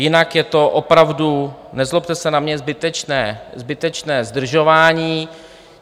Jinak je to opravdu, nezlobte se na mě, zbytečné zdržování.